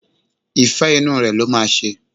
Ìfẹ́ inú rẹ̀ ló máa ṣe.